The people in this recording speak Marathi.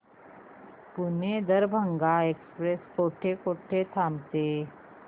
पुणे दरभांगा एक्स्प्रेस कुठे कुठे थांबते